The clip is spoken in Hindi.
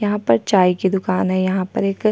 यहाँ पर चाय की दुकान है यहाँ पर एक--